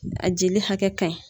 A jeli hakɛ ka ɲi.